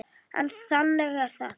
En þannig er það.